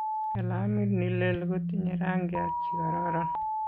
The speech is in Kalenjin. Kalamit nilel kotinyei rangiat chikororon.